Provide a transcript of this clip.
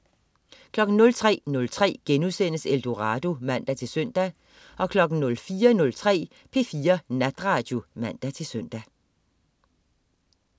03.03 Eldorado* (man-søn) 04.03 P4 Natradio (man-søn)